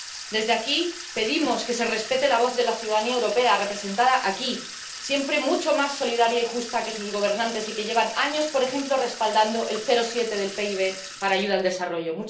Desde aquí, pedimos que se respete la voz de la ciudadanía europea representada aquí, siempre mucho más solidaria y justa que sus gobernantes y que lleva años, por ejemplo, respaldando el 0,7 del PIB para ayuda al desarrollo.